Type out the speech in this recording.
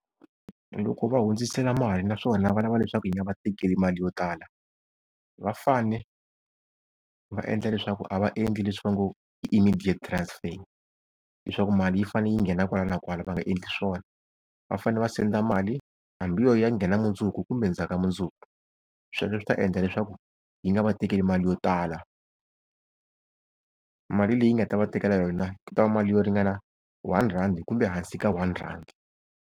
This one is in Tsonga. Loko va hundzisela mali naswona va lava leswaku yi nga va tekeli mali yo tala, va fane va endla leswaku, a va endli leswi va ngo i immediate transfer leswaku mali yi fane yi nghena kwala na kwala va nga endli swona. Va fanele va send mali hambi yo ya yi ya nghena mundzuku kumbe ndzhaka mundzuku, sweswo swi ta endla leswaku yi nga va tekeli mali yo tala. Mali leyi nga ta va tekela yona ku ta va mali yo ringana one rand kumbe hansi ka one rand.